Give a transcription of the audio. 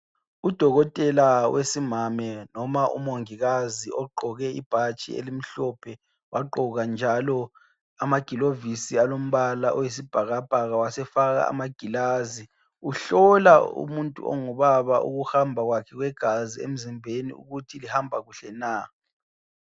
udokotela wesimami loba umongikazi ogqoke ibhatshi elimhlophe wagqoka njalo amagilovisi alombala oyisibhakabhaka wasefaka amagilazi uhlola umuntu ongu baba ukuhamba kwakhe kwegazi emzimbeni ukuthi lihamba kuhle na